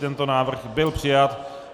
Tento návrh byl přijat.